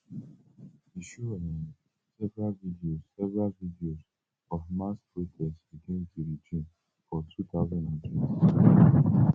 e show um several videos several videos of mass protests against di regime for two thousand and twenty-two